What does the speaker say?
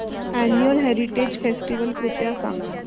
annual heritage festival कृपया सांगा